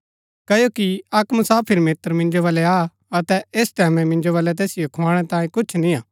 क्ओकि अक्क मुसाफिर मित्र मिन्जो वलै आ अतै ऐस टैमैं मिन्जो वलै तैसिओ खुआणै तांयें कुछ निया